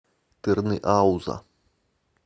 тырныауза